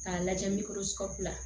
K'a lajɛ